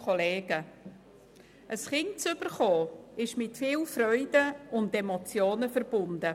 Ein Kind zu bekommen ist mit viel Freuden und Emotionen verbunden.